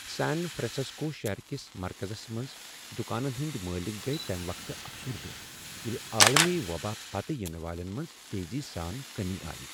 سان فرانسسکو شہر کس مرکزس منٛز دکانن ہٕنٛدۍ مٲلک گیۍ تمہٕ وقتہٕ افسردہ ییلہٕ عالمی وبا پتہٕ ینہ والین منٛز تیزی سان کمی آیہٕ۔